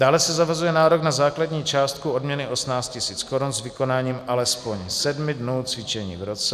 Dále se zavazuje nárok na základní částku odměny 18 000 korun s vykonáním alespoň sedmi dnů cvičení v roce.